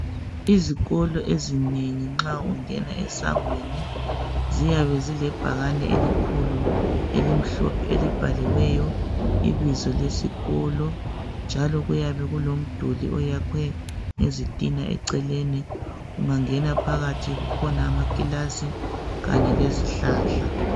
Izikolo ezinengi, nxa ungena esangweni ziyabe zilebhakani elikhulu elimhlophe elibhaliweyo ibizo lesikolo, njalo kuyabe kuloduli oyakwe ngezithina eceleni. Ungangena phakathi kukhona amakilasi khanye lezihlahla.